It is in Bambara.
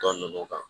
Dɔ ninnu kan